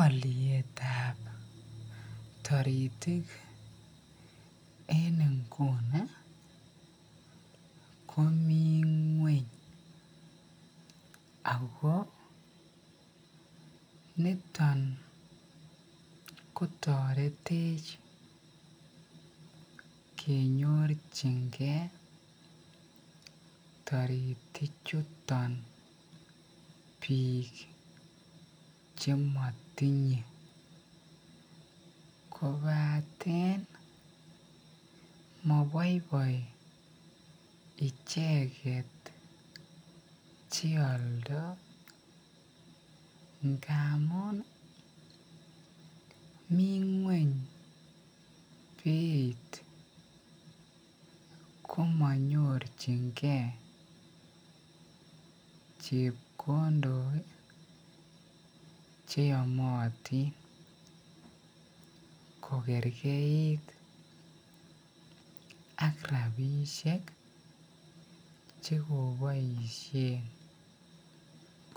Olietab toritik en inguni komii ngweny ak ko niton kotoretech kenyorchinge toritik chuton biik chemotinye kobaten moboiboi icheket cheoldo ngamun mii ngweny beit komonyorchinge chekondok cheyomotin ko kerkeit ak rabishek chekoboishen